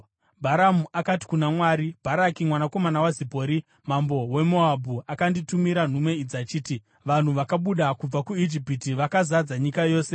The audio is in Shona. Bharamu akati kuna Mwari, “Bharaki mwanakomana waZipori, mambo weMoabhu, akanditumira nhume idzi achiti, ‘Vanhu vakabuda kubva kuIjipiti vakazadza nyika yose.